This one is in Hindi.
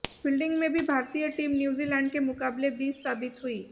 फील्डिंग में भी भारतीय टीम न्यूज़ीलैंड के मुकाबले बीस साबित हुई